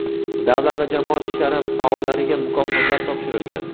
davlat va jamoat ishlari faollariga mukofotlar topshirilgan.